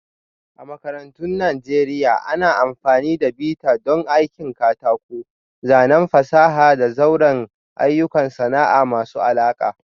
A makarantun Najeriya, ana amfani da bita don aikin katako, zanen fasaha da sauran ayyukan sana'a masu alaƙa